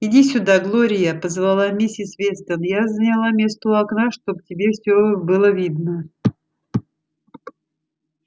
иди сюда глория позвала миссис вестон я заняла место у окна чтобы тебе всё было видно